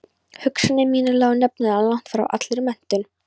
Hugsanir mínar lágu nefnilega langt frá allri menntun.